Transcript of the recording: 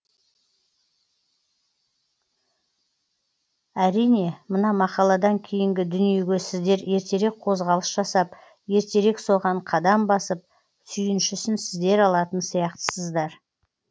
әрине мына мақаладан кейінгі дүниеге сіздер ертерек қозғалыс жасап ертерек соған қадам басып сүйіншісін сіздер алатын сияқтысыздар